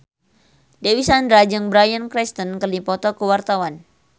Dewi Sandra jeung Bryan Cranston keur dipoto ku wartawan